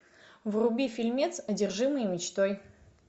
вруби фильмец одержимые мечтой